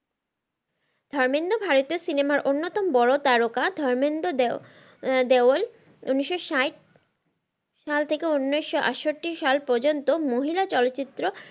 ধর্মেন্দ্র ভারতের সিনেমার অন্যতম প্রাধান ভুমিকা ধর্মেন্দ্র দেওল উনিশ স্যাট সাল থেকে উনিশশো আটষট্টি সাল পর্যন্ত মহিলা চলচ্চিত্র